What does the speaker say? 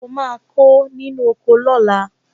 O máa kó inú oko náà